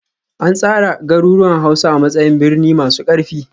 An tsara garuruwan Hausa a matsayin birni masu ƙarfi